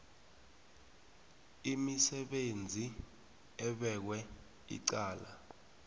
umsebenzi obekwe icala